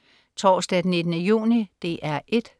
Torsdag den 19. juni - DR 1: